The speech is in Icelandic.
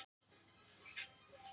Himinninn var alveg blár.